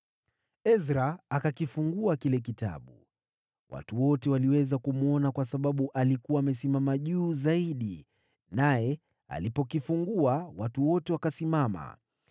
Ezra akakifungua kile kitabu. Watu wote waliweza kumwona kwa sababu alikuwa amesimama juu zaidi, naye alipokifungua watu wote wakasimama.